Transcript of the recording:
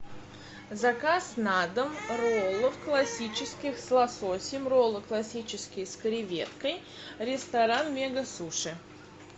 заказ на дом роллов классических с лососем роллы классические с креветкой ресторан мега суши